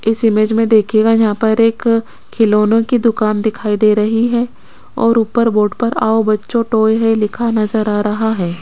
इस इमेज में देखिएगा यहां पर एक खिलौनों की दुकान दिखाई दे रही है और ऊपर बोर्ड पर आओ बच्चों टॉय है लिखा नजर आ रहा है।